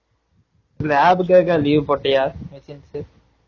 lab கு எதா leave போட்டியா